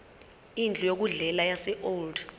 indlu yokudlela yaseold